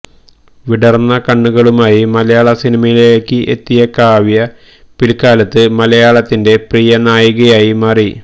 വിടര്ന്ന കണ്ണുകളുമായി മലയാള സിനിമയിലേക്ക് എത്തിയ കാവ്യ പില്ക്കാലത്ത് മലയാളത്തിന്റെ പ്രിയനായികയായി മാറി